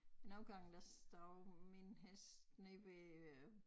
Men nogle gange der står min hest ned ved øh